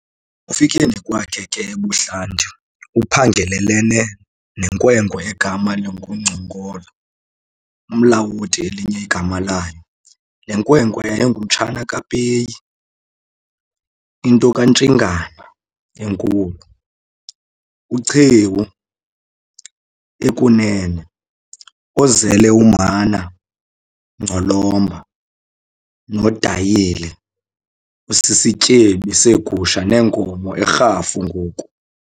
Ekufikeni kwakhe ke ebuhlanti uphangelelene nenkwenkwe egama linguNgcongolo, uMlawoti elinye igama layo. Le nkwenkwe yayingumtshana kaPeyi, into kaNtshingana enkulu, noChewu ekunene, ozele uMhana, Ngcolomba, noDayile osisityebi seegusha neenkomo eRhafu ngoku.